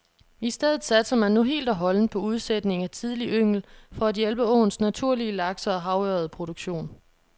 I stedet satser man nu helt og holdent på udsætning af tidlig yngel for at hjælpe åens naturlige lakse og havørred produktion.